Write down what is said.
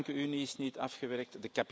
De bankenunie is niet afgewerkt.